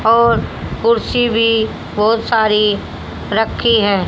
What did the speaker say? और कुर्सी भी बोहोत सारी रखी है।